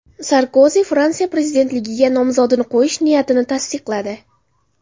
Sarkozi Fransiya prezidentligiga nomzodini qo‘yish niyatini tasdiqladi.